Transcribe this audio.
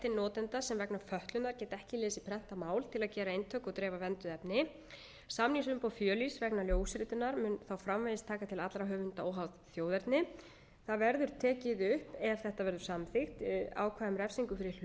notenda sem vegna fötlunar geta ekki lesið prentað mál til að gera eintök og dreifa vernduðu efni samningsumboð fjölíss vegna ljósritunar mun þá framvegis taka til allra höfunda óháð þjóðerni það verður tekið upp ef þetta verður samþykkt ákvæði um refsingu fyrir hlutdeild í höfundaréttarbrotum sem er